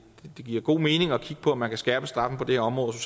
giver god mening at kigge på om man kan skærpe straffen på det her område og